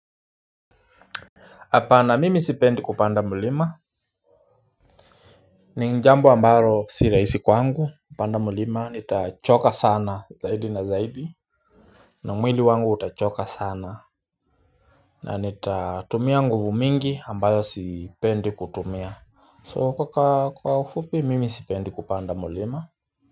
Apana mimi sipendi kupanda mulima ni njambo ambaro si raisi kwangu kupanda mulima nitachoka sana zaidi na zaidi na mwili wangu utachoka sana na nitatumia nguvu mingi ambayo sipendi kutumia so ka ka kwa ufupi mimi sipendi kupanda mulima.